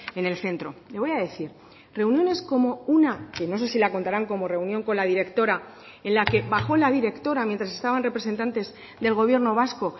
en el centro le voy a decir reuniones como una que no sé si la contarán como reunión con la directora en la que bajó la directora mientras estaban representantes del gobierno vasco